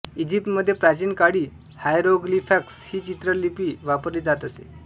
इजिप्तमध्ये प्राचीन काळी हायरोग्लिफक्स ही चित्रलिपी वापरली जात असे